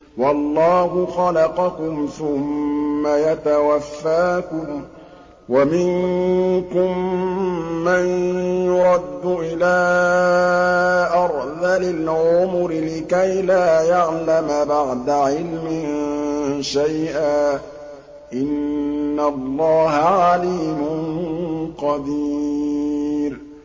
وَاللَّهُ خَلَقَكُمْ ثُمَّ يَتَوَفَّاكُمْ ۚ وَمِنكُم مَّن يُرَدُّ إِلَىٰ أَرْذَلِ الْعُمُرِ لِكَيْ لَا يَعْلَمَ بَعْدَ عِلْمٍ شَيْئًا ۚ إِنَّ اللَّهَ عَلِيمٌ قَدِيرٌ